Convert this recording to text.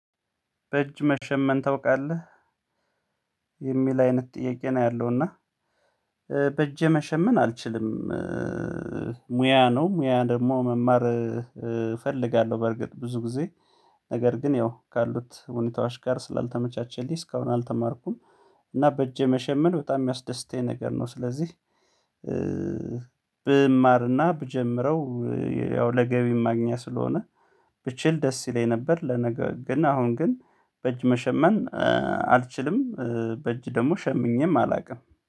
በእጅ መሸመን ታውቃለህ? የሚል አይነት ጥያቄ ነው ያለው እና በእጄ መሸመን አልችልም። ሙያ ነው ሙያ ደግሞ መማር እፈልጋለሁ በርግጥ ብዙ ጊዜ ነገር ግን ያው ካሉት ሁኔታዎች ጋር ስላልተመቻቸልኝ እስካሁን አልተማርኩም። እና በእጄ መሸመን በጣም የሚያስደስተኝ ነገር ነው። ስለዚህ ብማርና ብጀምረው ያው ለገቢ ማግኛ ስለሆነ ብችል ደስ ይለኝ ነበር። ለነገር ግን አሁን ግን በእጅ መሸመን አልችልም። በእጅ ደግሞ ሸምኜም አላውቅም